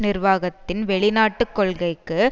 நிர்வாகத்தின் வெளிநாட்டு கொள்கைக்கு